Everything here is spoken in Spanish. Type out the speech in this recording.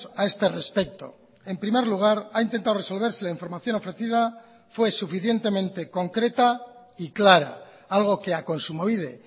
a este respecto en primer lugar ha intentado resolverse la información ofrecida fue suficientemente concreta y clara algo que ha kontsumobide